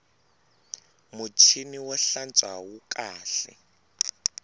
muchini wo hlantswa wu kahle